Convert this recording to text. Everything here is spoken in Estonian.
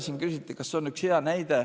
Siin küsiti, kas on üks hea näide.